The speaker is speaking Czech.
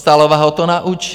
Dostálová ho to naučí.